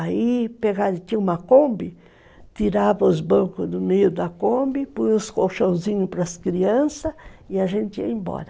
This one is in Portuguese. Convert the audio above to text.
Aí tinha uma Kombi, tirava os bancos do meio da Kombi, põe os colchãozinhos para as crianças e a gente ia embora.